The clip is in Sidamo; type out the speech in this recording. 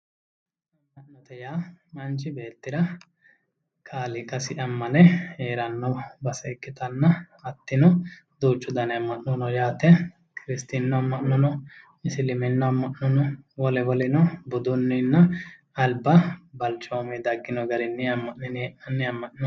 Ammanote yaa manchi beettira kaaliiqasi ammane heeranno base ikkitanna hattino duuchu dani amma'no no yaate kiristinnu amma'no no isiliminnu amma'no no wole woleno budunninna alba balchomuyi daggino garinni amma'nine hee'nanni amma'no no